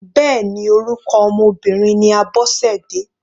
Bẹ́ẹ̀ni orúkọ ọmọ Obìnrin ní Abosede.